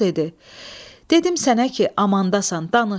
Koroğlu dedi: Dedim sənə ki, amandasan, danış.